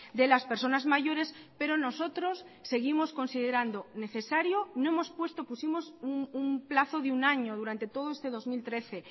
de las personas mayores pero nosotros seguimos considerando necesario no hemos puesto pusimos un plazo de un año durante todo este dos mil trece